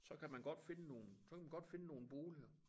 Så kan man godt finde nogle så kan man godt finde nogle boliger